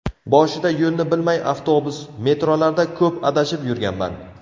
Boshida yo‘lni bilmay avtobus, metrolarda ko‘p adashib yurganman.